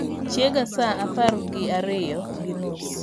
chiega saa apar gi ariyo gi nus